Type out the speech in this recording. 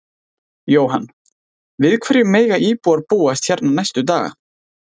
Jóhann: Við hverju mega íbúar búast hérna næstu daga?